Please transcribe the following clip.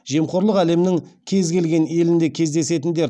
жемқорлық әлемнің кез келген елінде кездесетін дерт